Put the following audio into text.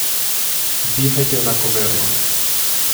Dihajte enakomerno.